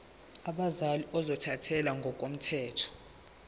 abazali ozothathele ngokomthetho